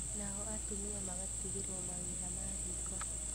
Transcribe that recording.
Nao atumia magatigĩrwo mawĩra ma riko